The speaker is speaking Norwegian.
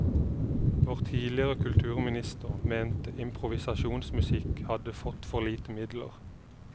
Vår tidligere kulturminister mente improvisasjonsmusikk hadde fått for lite midler.